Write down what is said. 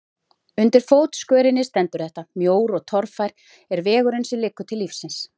Undir fótskörinni stendur þetta: Mjór og torfær er vegurinn sem liggur til lífsins.